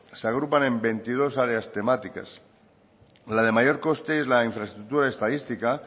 se agrupan en veintidós áreas temáticas la de mayor coste es la de infraestructura estadística